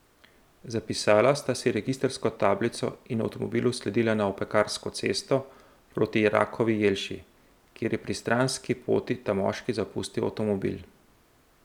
Zapisala sta si registrsko tablico in avtomobilu sledila na Opekarsko cesto proti Rakovi Jelši, kjer je pri Stranski poti ta moški zapustil avtomobil.